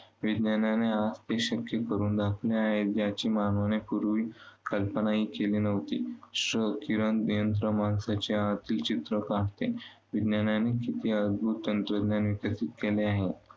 विज्ञानाने ते शक्य करून दाखवले आहे, ज्याची मानवाने पूर्वी कल्पनाही केली नव्हती. क्ष किरण यंत्र माणसाच्या आतील चित्र काढतं. विज्ञानाने किती अद्भूत तंत्रज्ञान विकसित केले आहे.